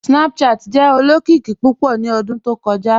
Snapchat jẹ olokiki pupọ̀ ni ọ̀dún tó kọja."